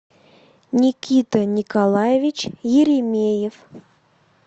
никита николаевич еремеев